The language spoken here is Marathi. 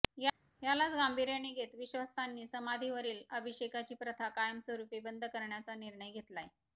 यालाच गांभीर्याने घेत विश्वास्थांनी समाधीवरील अभिषेकची प्रथा कायमस्वरूपी बंद करण्याचा निर्णय घेतलाय